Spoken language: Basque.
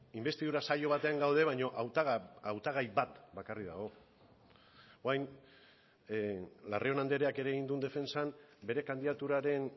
inbestidura saio batean gaude baina hautagai bat bakarrik dago orain larrion andreak ere egin duen defentsan bere kandidaturaren